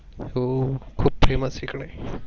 हो खूप Famous इकडे.